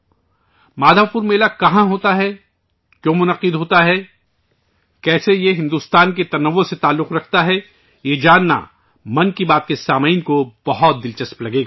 من کی بات کے سامعین کو یہ جاننا بہت دلچسپ لگے گا کہ مادھو پور میلہ کہاں منعقد ہوتا ہے، کیوں منعقد ہوتا ہے، اس کا بھارت کے تنوع سے کیا تعلق ہے